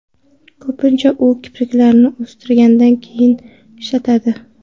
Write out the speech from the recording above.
Ko‘pincha u kipriklarni o‘stirgandan keyin ishlatiladi.